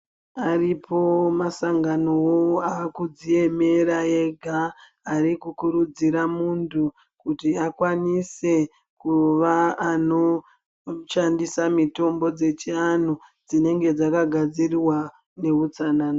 Aripo masanganowo aakudziemera ega arikukurudzira muntu kuti akwanise kuva anoshandisa mitombo dzechianhu dzinenge dzakagadzirwa neutsanana.